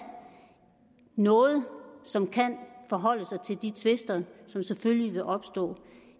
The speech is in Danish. noget som kan forholde sig til de tvister som selvfølgelig vil opstå